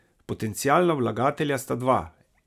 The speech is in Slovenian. Potencialna vlagatelja sta dva.